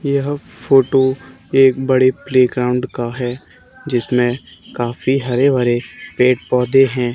यह फोटो एक बड़े प्लेग्राउंड का है जिसमें काफी हरे भरे पेड़ पौधे हैं।